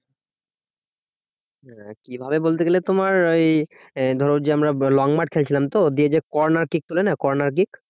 আহ কিভাবে বলতে গেলে তোমার ওই আহ ধরো যে আমরা long মাঠ খেলছিলাম তো, দিয়ে যে corner kick বলে না corner kick